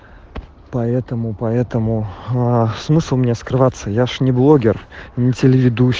поэтому поэтому а смысл мне скрываться я же не блогер не